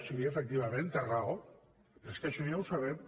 sí efectivament té raó però és que això ja ho sabem